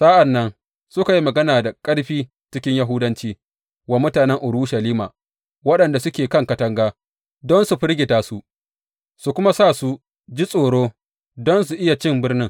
Sa’an nan suka yi magana da ƙarfi cikin Yahudanci wa mutanen Urushalima waɗanda suke kan katanga, don su firgita su, su kuma sa su ji tsoro don su iya cin birnin.